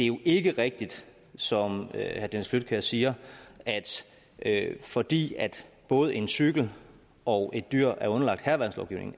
jo ikke rigtigt som herre dennis flydtkjær siger at fordi både en cykel og et dyr er underlagt hærværkslovgivningen